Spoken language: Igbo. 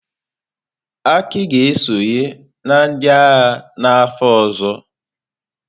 Aki ga-esonye na ndị agha n'afọ ọzọ.